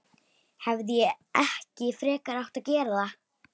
Hefði ég ekki frekar átt að gera það?